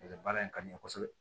baara in ka di n ye kosɛbɛ